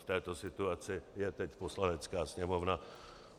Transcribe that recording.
V této situaci je teď Poslanecká sněmovna.